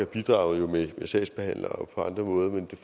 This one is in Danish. bidraget med sagsbehandlere